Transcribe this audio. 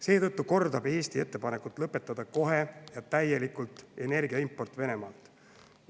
Seetõttu kordab Eesti ettepanekut lõpetada kohe ja täielikult energiaimport Venemaalt.